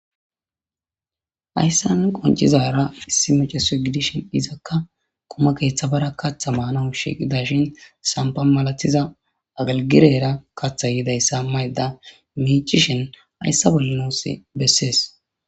Hayssan qonccizaara issi maaccasiyo gidishin izakka quma keetha bara katha maanaw shiiqidaashin saafa milatiza agelgileera kathay yodayssa maydda miiccishin hayssan bolla nuus bessees.